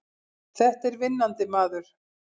Þetta er vinnandi maður!